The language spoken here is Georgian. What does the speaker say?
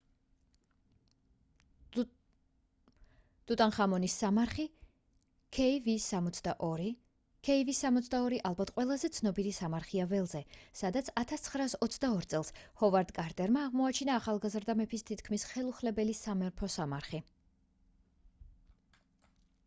ტუტანხამონის სამარხი kv62. kv62 ალბათ ყველაზე ცნობილი სამარხია ველზე სადაც 1922 წელს ჰოვარდ კარტერმა აღმოაჩინა ახალგაზრდა მეფის თითქმის ხელუხლებელი სამეფო სამარხი